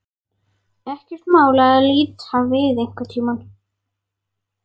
Ekkert mál að líta við einhvern tíma.